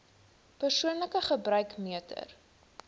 persoonlike gebruik meter